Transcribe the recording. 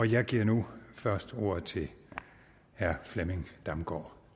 jeg giver nu først ordet til herre flemming damgaard